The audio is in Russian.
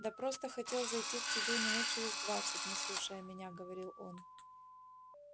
да просто хотел зайти к тебе минут через двадцать не слушая меня говорит он